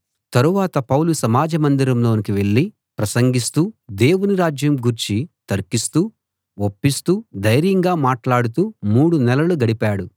తరువాత పౌలు సమాజ మందిరంలోకి వెళ్ళి ప్రసంగిస్తూ దేవుని రాజ్యం గూర్చి తర్కిస్తూ ఒప్పిస్తూ ధైర్యంగా మాట్లాడుతూ మూడు నెలలు గడిపాడు